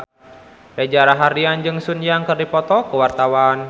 Reza Rahardian jeung Sun Yang keur dipoto ku wartawan